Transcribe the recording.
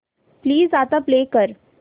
please आता play कर